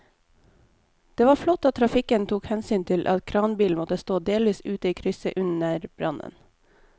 Det var flott at trafikken tok hensyn til at kranbilen måtte stå delvis ute i krysset under brannen.